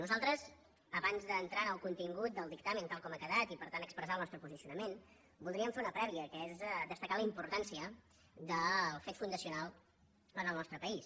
nosaltres abans d’entrar en el contingut del dictamen tal com ha quedat i per tant expressar el nostre posi·cionament voldríem fer una prèvia que és destacar la importància del fet fundacional en el nostre país